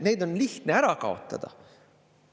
Neid on lihtne ära kaotada.